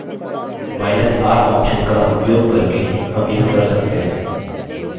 लेकिनr option का उपयोग करके हम यह कर सकते हैं